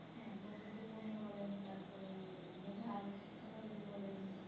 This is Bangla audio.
হ্যাঁ, বন্দুকটো পূর্ণ বলেন তারপরে মেধার কথা যদি বলেন